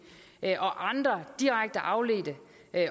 og andre direkte afledte